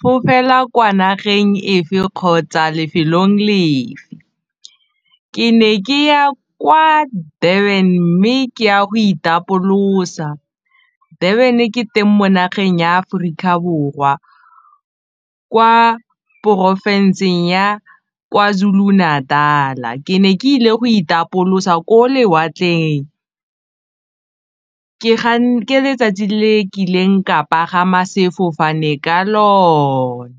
fofela kwa nageng efe kgotsa lefelong lefe, ke ne ke ya kwa Durban mme ke ya go itapolosa. Durban ke teng mo nageng ya Aforika Borwa kwa porofenseng ya Kwazulu Natal-a ke ne ke ile go itapolosa ko lewatleng ke letsatsi le ke ileng ka pagama sefofane ka lone.